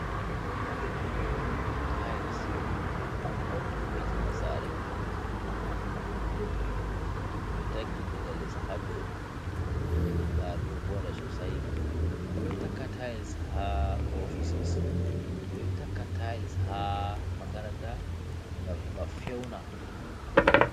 Tais ɗo wu'itina sare, to ɓe taki diga les ha dow sare ɗo voɗa sosai, ɓeɗo takka tais ha ofises, ɓeɗo takka tiles ha makaranta, gam heba fewna.